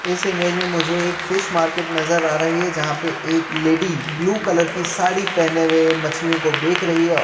इस इमेज में मुझे एक फिश मार्केट नजर आ रही है जहाॅं पे एक लेडी ब्लू कलर की साड़ी पहने हुए मछलिओं को बेक रही है औ --